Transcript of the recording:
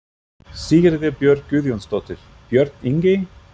Sigríður Björk Guðjónsdóttir: Björn Ingi?